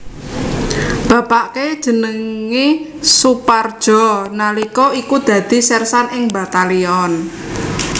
Bapake jenenge Soepardjo nalika iku dadi sersan ing Batalyon